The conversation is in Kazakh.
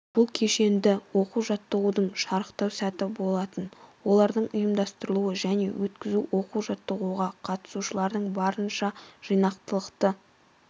бұл кешенді оқу-жаттығудың шарықтау сәті болатын олардың ұйымдастырылуы және өткізу оқу-жаттығуға қатысушылардан барынша жинақылықты